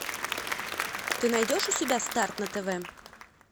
ты найдешь у себя старт на тв